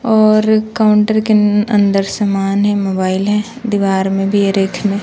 और काउंटर के अ अंदर समान है मोबाइल है दिवार में भी में--